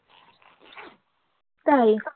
তাই